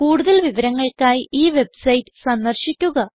കൂടുതൽ വിവരങ്ങൾക്കായി ഈ വെബ്സൈറ്റ് സന്ദർശിക്കുക